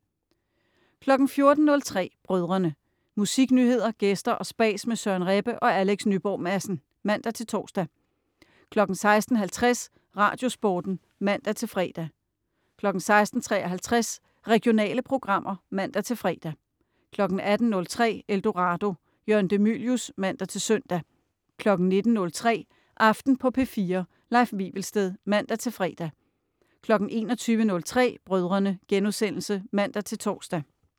14.03 Brødrene. Musiknyheder, gæster og spas med Søren Rebbe og Alex Nyborg Madsen (man-tors) 16.50 Radiosporten (man-fre) 16.53 Regionale programmer (man-fre) 18.03 Eldorado. Jørgen de Mylius (man-søn) 19.03 Aften på P4. Leif Wivelsted (man-fre) 21.03 Brødrene* (man-tors)